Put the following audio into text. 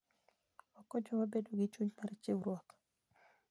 Okonyowa bedo gi chuny mar chiwruok.